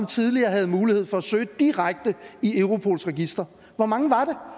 tidligere havde mulighed for at søge direkte i europols register hvor mange